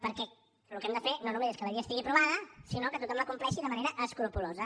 perquè el que hem de fer no només és que la llei estigui aprovada sinó que tothom la compleixi de manera escrupolosa